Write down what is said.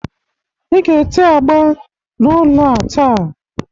Ị ga-ete agba n'ụlọ a taa